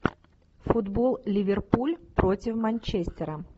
футбол ливерпуль против манчестера